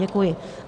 Děkuji.